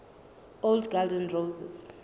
old garden roses